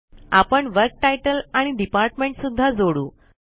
आपण वर्क तितले आणि डिपार्टमेंट सुद्धा जोडू